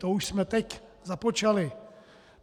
To už jsme teď započali.